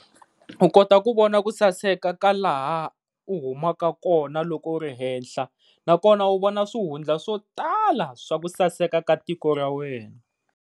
U kota ku vona ku saseka ka laha ku humaka kona loko u ri henhla na kona wu vona swihundla swo tala swa ku saseka ka tiko ra wena.